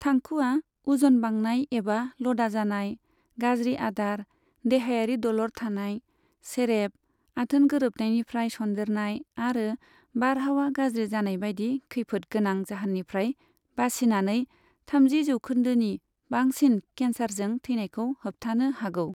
थांखुआ, उजन बांनाय एबा लदा जानाय, गाज्रि आदार, देहायारि दलर थानाय, सेरेब, आथोन गोरबनायनिफ्राय सन्देरनाय आरो बारहावा गाज्रि जानायबादि खैफोदगोनां जाहोननिफ्राय बासिनानै थामजि जौखोनदोनि बांसिन केन्सारजों थैनायखौ होबथानो हागौ।